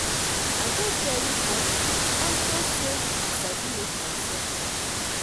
I dey very happy unto say I sabi make myself up